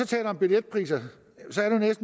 taler om billetpriser